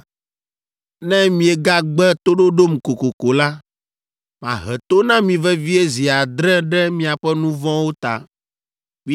“Ne miegagbe toɖoɖom kokoko la, mahe to na mi vevie zi adre ɖe miaƒe nu vɔ̃wo ta.